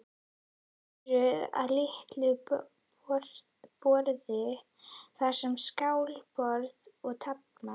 Þeir fóru að litlu borði, þar var skákborð og taflmenn.